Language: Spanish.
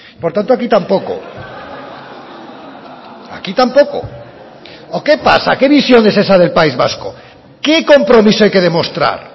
por tanto aquí tampoco aquí tampoco o qué pasa qué visión es esa del país vasco qué compromiso hay que demostrar